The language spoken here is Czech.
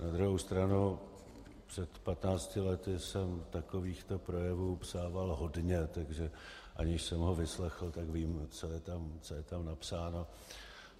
Na druhou stranu, před patnácti lety jsem takovýchto projevů psával hodně, takže aniž jsem ho vyslechl, tak vím, co je tam napsáno.